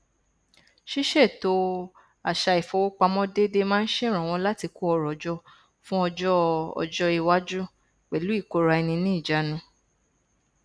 ṣíṣètò àṣà ifowópamọ déédé máa n ṣèrànwọ láti kó ọrọ jọ fún ọjọ ọjọ iwájú pẹlú ìkóraẹniníjaánu